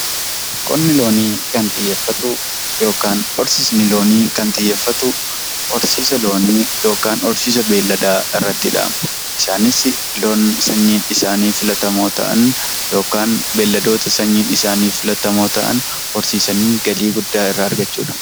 Qonni loonii kan xiyyeeffatu horsiisa loonii yookiin horsiisa beelladaa irratti dhaama isaanis loon sanyiin isaanii filatamoo ta'an yookaan beelladoota sanyiin isaanii filatamoo ta'an horsiisanii galii guddaa irra argachuudha.